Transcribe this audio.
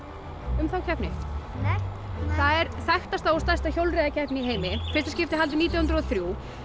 um þá keppni nei það er þekktasta og stærsta hjólreiðakeppni í heimi í fyrsta skipti haldin nítján hundruð og þrjú